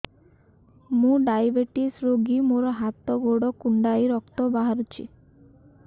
ମୁ ଡାଏବେଟିସ ରୋଗୀ ମୋର ହାତ ଗୋଡ଼ କୁଣ୍ଡାଇ ରକ୍ତ ବାହାରୁଚି